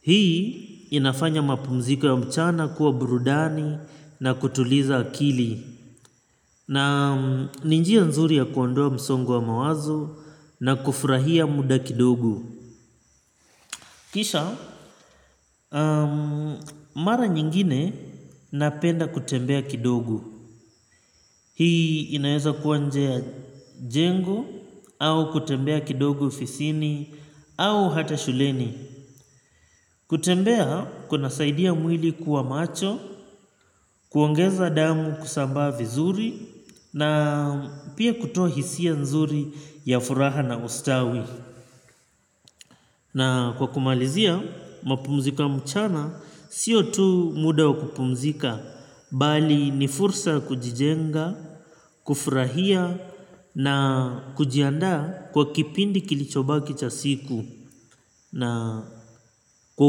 Hii inafanya mapumziko ya mchana kuwa burudani na kutuliza akili. Naam ni njia nzuri ya kuondoa msongo wa mawazo na kufurahia muda kidogo. Kisha, mara nyingine napenda kutembea kidogo. Hii inaeza kuwa nje ya jengo au kutembea kidogo ofisini au hata shuleni. Kutembea kuna saidia mwili kuwa macho, kuongeza damu kusambaa vizuri na pia kutoa hisia nzuri ya furaha na ustawi. Na kwa kumalizia mapumziko ya mchana sio tu muda wa kupumzika bali ni fursa ya kujijenga, kufurahia na kujiandaa kwa kipindi kilichobaki cha siku. Na kwa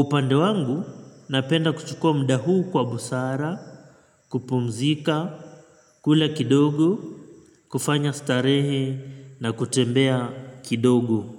upande wangu napenda kuchukua muda huu kwa busara, kupumzika, kula kidogo, kufanya starehe na kutembea kidogo.